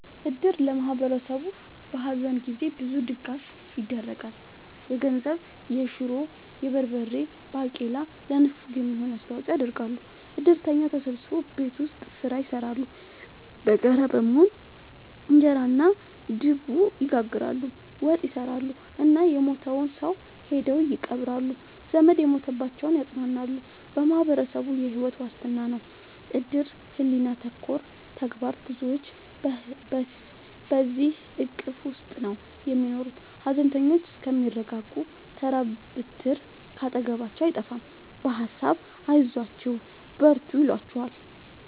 እድር ለማህበረሰቡ በሀዘን ጊዜ ብዙ ድጋፍ ይደረጋል። የገንዘብ፣ የሹሮ፣ የበርበሬ ባቄላ ለንፍሮ የሚሆን አስተዋጽኦ ያደርጋሉ። እድርተኛው ተሰብስቦ ቤት ውስጥ ስራ ይሰራሉ በጋራ በመሆን እንጀራ እና ድብ ይጋግራሉ፣ ወጥ ይሰራሉ እና የሞተውን ሰው ሄደው ይቀብራሉ። ዘመድ የሞተባቸውን ያፅናናሉ በማህበረሰቡ የሕይወት ዋስትና ነው እድር ሕሊና ተኮር ተግባር ብዙዎች በዚሕ እቅፍ ውስጥ ነው የሚኖሩት ሀዘነተኞቹ እስከሚረጋጉ ተራ ብትር ካጠገባቸው አይጠፍም በሀሳብ አይዟችሁ በርቱ ይሏቸዋል።